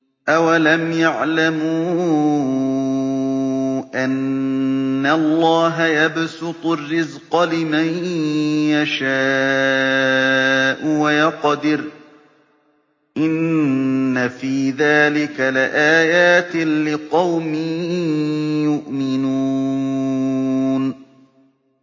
أَوَلَمْ يَعْلَمُوا أَنَّ اللَّهَ يَبْسُطُ الرِّزْقَ لِمَن يَشَاءُ وَيَقْدِرُ ۚ إِنَّ فِي ذَٰلِكَ لَآيَاتٍ لِّقَوْمٍ يُؤْمِنُونَ